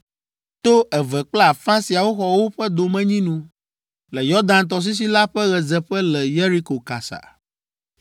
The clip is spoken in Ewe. To eve kple afã siawo xɔ woƒe domenyinu le Yɔdan tɔsisi la ƒe ɣedzeƒe le Yeriko kasa.”